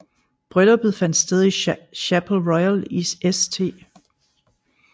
Brylluppet fandt sted i Chapel Royal i St